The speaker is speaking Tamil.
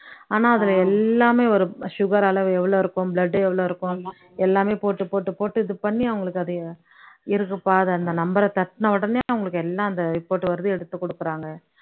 ஆனா அதுல எல்லாமே வரும் sugar அளவு எவ்வளவு இருக்கும் blood எவ்ளோ இருக்கும். எல்லாமே போட்டு போட்டு போட்டு இது பண்ணி அவங்களுக்கு அதிய இருக்கு பாரு அந்த number அ தட்டுன உடனையே அவங்களுக்கு எல்லாம் அந்த report வருது எடுத்து கொடுக்குறாங்க